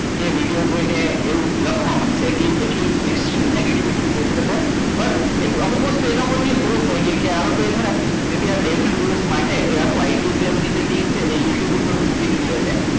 કે video જોઈને એવું લખવા માડશે કે actual nagetivity કેહવાય અમુક વસ્તુ એના પરથી proof થાય છે બે ત્રણ દિવસ માટે IT cell ની જે team છે એ youtube ઉપર મૂકી દીધી હોય છે